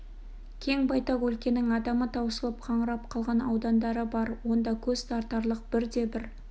кең байтақ өлкенің адамы таусылып қаңырап қалған аудандары да бар онда көз тартарлық бірде бір